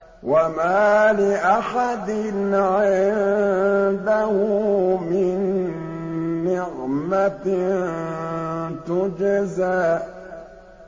وَمَا لِأَحَدٍ عِندَهُ مِن نِّعْمَةٍ تُجْزَىٰ